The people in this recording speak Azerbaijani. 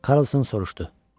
Karlson soruşdu.